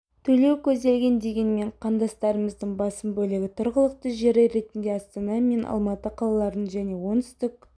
төлеу көзделген дегенмен қандастарымыздың басым бөлігі тұрғылықты жері ретінде астана мен алматы қалаларын және оңтүстік